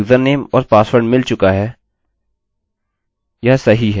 हम केवल जाँचेंगे